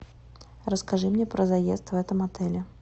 расскажи мне про заезд в этом отеле